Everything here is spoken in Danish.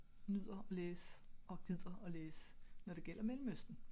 Nyder at læse og gider at læse når det gælder Mellemøsten